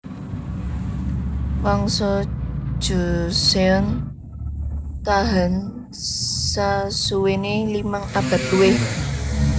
Wangsa Joseon tahan sasuwéné limang abad luwih